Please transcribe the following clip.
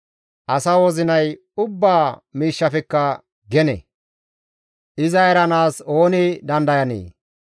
Asa wozinay ubbaa miishshafekka gene; izas paxateththika deenna; iza eranaas ooni dandayanee?